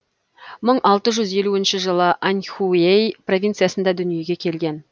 мың алты жүз елу жылы аньхуей провинциясында дүниеге келген